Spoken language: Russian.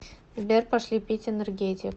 сбер пошли пить энергетик